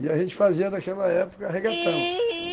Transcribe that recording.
E a gente fazia, naquela época, regatão.